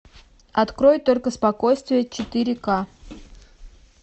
открой только спокойствие четыре ка